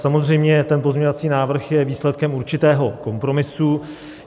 Samozřejmě, ten pozměňovací návrh je výsledkem určitého kompromisu.